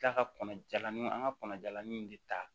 Kila ka kɔnɔ jalani an ka kɔnɔ jalanin in de ta